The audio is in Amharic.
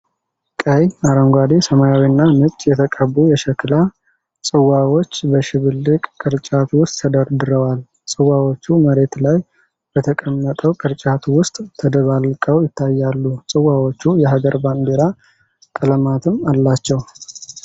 ቀይ፣ አረንጓዴ፣ ሰማያዊና ነጭ የተቀቡ የሸክላ ጽዋዎች በሽብልቅ ቅርጫት ውስጥ ተደርድረዋል። ጽዋዎቹ መሬት ላይ በተቀመጠው ቅርጫት ውስጥ ተደባልቀው ይታያሉ። ጽዋዎቹ የአገር ባንዲራ ቀለማትም አላቸው።